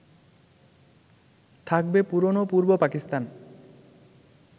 থাকবে পুরনো পূর্ব পাকিস্তান